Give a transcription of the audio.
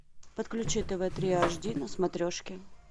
подключи тв три ашди на смотрешке